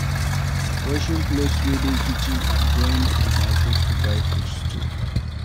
Washing plates wey dey kitchen vs going to market to buy food stuff